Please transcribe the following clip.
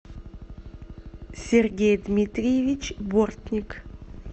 сергей дмитриевич бортник